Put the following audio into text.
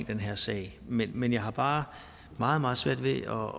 den her sag men men jeg har bare meget meget svært ved at